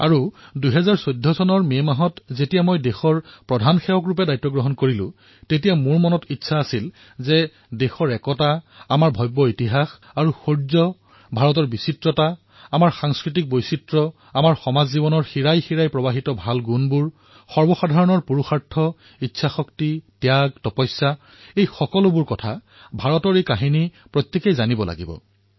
আৰু যেতিয়া মই ২০১৪ চনৰ মে মাহত প্ৰধান সেৱকৰ ৰূপত কাৰ্যভাৰ গ্ৰহণ কৰিলো তেতিয়া মোৰ মনত এক ইচ্ছাৰ উদ্ৰেক হল যে দেশৰ একতা আমাৰ ভব্য ইতিহাস ইয়াৰ শৌৰ্য ভাৰতৰ বিবিধতা আমাৰ সাংস্কৃতিক বিবিধতা আমাৰ সমাজৰ শিৰাই শিৰাই প্ৰবাহিত ভাল দিশসমূহ জনতাৰ পুৰুষাৰ্থ ত্যাগ তপস্যা এই সকলো কথা ভাৰতৰ এই কাহিনীসমূহে জনতাক স্পৰ্শ কৰাটো প্ৰয়োজন